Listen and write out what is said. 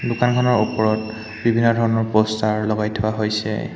দোকানখনৰ ওপৰত বিভিন্ন ধৰণৰ প'ষ্টাৰ লগাই থোৱা হৈছে।